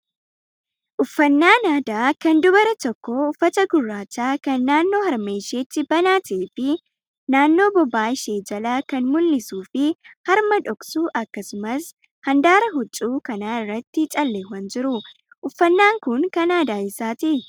Uffannaan aadaa kan dubara tokkoo uffata gurraachaa kan naannoo harma isheetti banaa ta'ee fi naannoo bobaa ishee jala kan mul'isuu fi harma dhoksu akkasumas handaara huccuu kanaa irratti calleewwan jiru. Uffannaan kun kan aadaa eessaati?